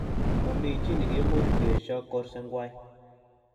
Momichi nekiimuch kesho kursengwai